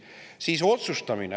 Siis otsustamine.